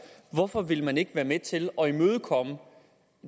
hvorfor vil man ikke være med til at imødekomme